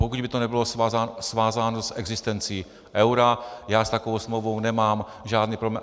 Pokud by to nebylo svázáno s existencí eura, já s takovou smlouvou nemám žádný problém.